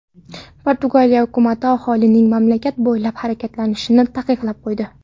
Portugaliya hukumati aholining mamlakat bo‘ylab harakatlanishini taqiqlab qo‘ydi.